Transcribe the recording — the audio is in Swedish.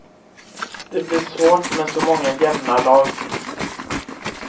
Det blir svårt med så många jämna lag.